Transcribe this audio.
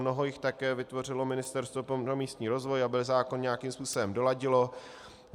Mnoho jich také vytvořilo Ministerstvo pro místní rozvoj, aby zákon nějakým způsobem doladilo.